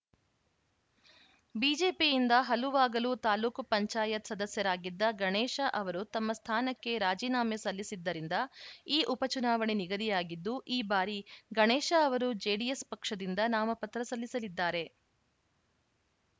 ಬಿಜೆಪಿಯಿಂದ ಹಲುವಾಗಲು ತಾಲೂಕ್ ಪಂಚಾಯತ್ ಸದಸ್ಯರಾಗಿದ್ದ ಗಣೇಶ ಅವರು ತಮ್ಮ ಸ್ಥಾನಕ್ಕೆ ರಾಜಿನಾಮೆ ಸಲ್ಲಿಸಿದ್ದರಿಂದ ಈ ಉಪ ಚುನಾವಣೆ ನಿಗದಿಯಾಗಿದ್ದು ಈ ಬಾರಿ ಗಣೇಶ ಅವರು ಜೆಡಿಎಸ್‌ ಪಕ್ಷದಿಂದ ನಾಮ ಪತ್ರ ಸಲ್ಲಿಸಿದ್ದಾರೆ